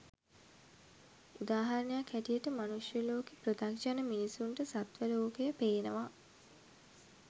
උදාහරණයක් හැටියට මනුෂ්‍ය ලෝකේ පෘතග්ජන මිනිස්සුන්ට සත්ව ලෝකය පේනවා